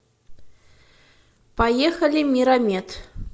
поехали миромед